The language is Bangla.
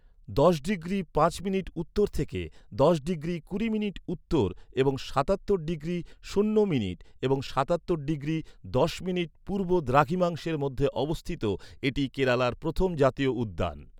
দশ ডিগ্রি পাঁচ মিনিট উত্তর থেকে দশ ডিগ্রি কুড়ি মিনিট উত্তর এবং সাতাত্তর ডিগ্রি শূন্য মিনিট এবং সাতাত্তর ডিগ্রি দশ মিনিট পূর্ব দ্রাঘিমাংশের মধ্যে অবস্থিত, এটি কেরালার প্রথম জাতীয় উদ্যান।